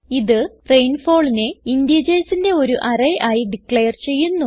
ഇത് rainfallനെ integersന്റെ ഒരു അറേ ആയി ഡിക്ളയർ ചെയ്യുന്നു